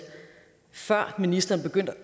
før ministeren begyndte